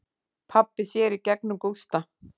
Pabbi sér í gegnum Gústa.